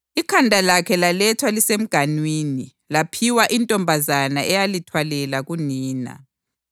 Ikhanda lakhe lalethwa lisemganwini laphiwa intombazana eyalithwalela kunina.